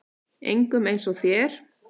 Engum eins og þér.